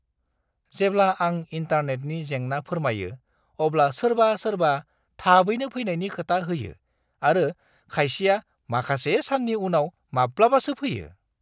जेब्ला आं इन्टारनेटनि जेंना फोरमायो अब्ला सोरबा-सोरबा थाबैनो फैनायनि खोथा होयो आरो खायसेआ माखासे साननि उनाव माब्लाबासो फैयो।